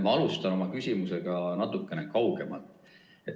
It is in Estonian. Ma alustan oma küsimusega natuke kaugemalt.